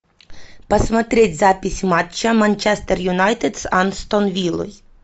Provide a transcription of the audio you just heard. посмотреть запись матча манчестер юнайтед с астон виллой